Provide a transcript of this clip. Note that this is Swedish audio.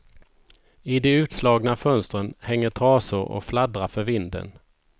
I de utslagna fönstren hänger trasor och fladdrar för vinden.